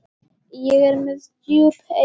Ég er með djúp eyru.